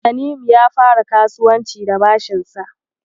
Tanimu ya fara kasuwanci da bashinsa.